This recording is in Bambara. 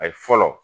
A ye fɔlɔ